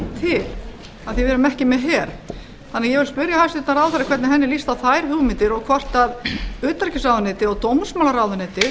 því að við erum ekki með her ég vil spyrja hæstvirtan ráðherra hvernig henni líst á þær hugmyndir og hvort utanríkisráðuneytið og dómsmálaráðuneytið